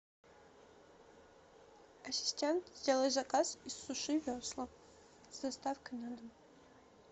ассистент сделай заказ из суши весла с доставкой на дом